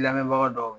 Lamɛnbaga dɔw